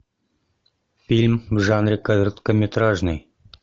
фильм в жанре короткометражный